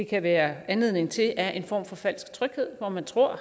kan være anledning til er en form for falsk tryghed hvor man tror